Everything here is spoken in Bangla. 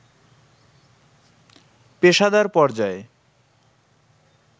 পেশাদার পর্যায়ে